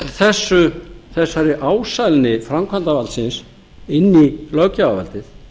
gegn þessari ásælni framkvæmdarvaldsins inn í löggjafarvaldið